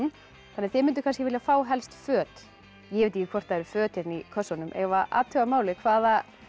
þið mynduð kannski vilja fá helst föt ég veit ekki hvort það eru föt í kössunum eigum við að athuga hvaða